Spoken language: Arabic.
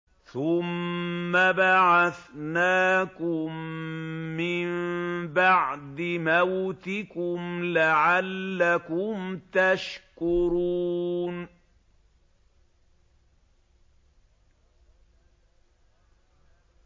ثُمَّ بَعَثْنَاكُم مِّن بَعْدِ مَوْتِكُمْ لَعَلَّكُمْ تَشْكُرُونَ